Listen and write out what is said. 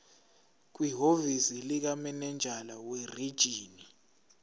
kwihhovisi likamininjela werijini